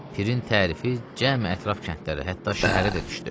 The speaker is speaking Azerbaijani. Pirin tərifi cəm ətraf kəndlərə, hətta şəhərə də düşdü.